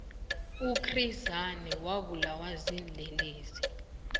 uchris hani wabulawa ziinlelesi